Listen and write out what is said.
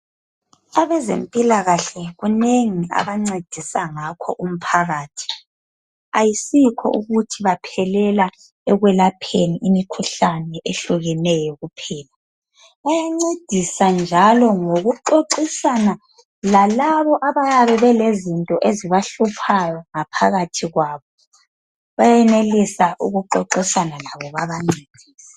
Abezempilakahle kunengi abancedisa ngakho umphakathi. Ayisikho ukuthi baphelela ekwelapheni imikhuhlane ehlukeneyo kuphela, bayancedisa njalo ngokuxoxisana lalabo abayabe belezinto ezibahluphayo ngaphakathi kwabo. Bayenelisa ukuxoxisana labo babancedise.